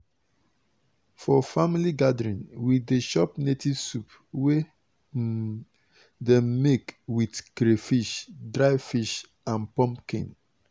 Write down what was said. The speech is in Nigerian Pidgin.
for family gathering we dey chop native soup wey um dem make with crayfish dry fish and pumpkin.